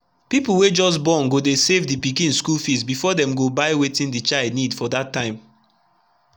people wey just borngo dey save the pikin schoolfees before them go buy wetin the child need for that time